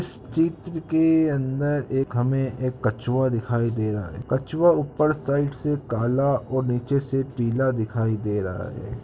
इस चित्र के अंदर एक हमे एक कछुआ दिखाई दे रहा है कछुआ ऊपर साईड से काला और नीचे से पीला दिखाई दे रहा है।